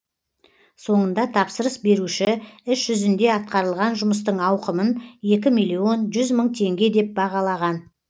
соңында тапсырыс беруші іс жүзінде атқарылған жұмыстың ауқымын екі миллион жүз мың теңге деп бағалаған